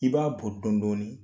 I b'a bɔ dɔndɔni